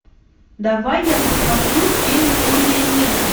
давай я посмотрю фильм студия нижний